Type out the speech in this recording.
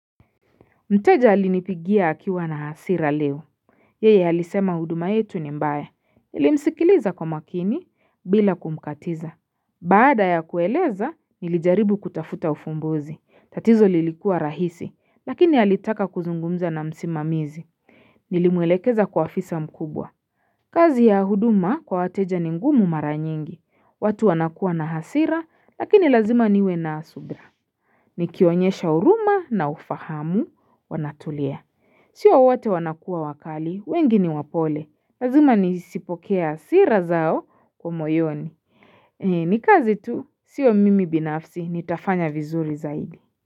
Mteja alinipigia akiwa na hasira leo Yeye alisema huduma yetu ni mbaya Nilimsikiliza kwa makini bila kumkatiza Baada ya kueleza nilijaribu kutafuta ufumbuzi tatizo lilikuwa rahisi lakini halitaka kuzungumza na msimamizi Nilimwelekeza kwa afisa mkubwa kazi ya huduma kwa wateja ni ngumu mara nyingi watu wanakua na hasira lakini lazima niwe na subira Nikionyesha huruma na ufahamu wanatulia. Sio wote wanakua wakali, wengi ni wapole. Lazima nizipokee hasira zao kwa moyoni. Nikazi tu, sio mimi binafsi, nitafanya vizuri zaidi.